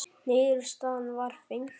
Niðurstaðan var fengin.